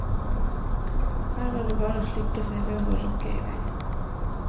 Her var det bare å slippe seg løs og rocke i vei.